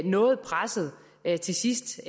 noget presset til sidst